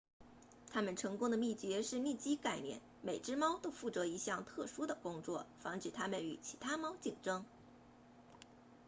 它们成功的秘诀是利基概念每只猫都负责一项特殊的工作防止它们与其他猫竞争